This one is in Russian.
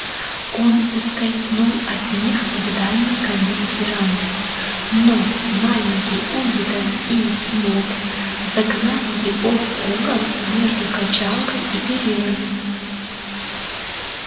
он ускользнул от них в дальний конец веранды но маленький уидон и мод загнали его в угол между качалкой и перилами